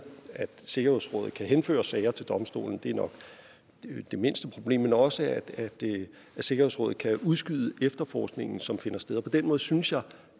at sikkerhedsrådet kan henføre sager til domstolen det er nok det mindste problem men også at sikkerhedsrådet kan udskyde efterforskningen som finder sted på den måde synes jeg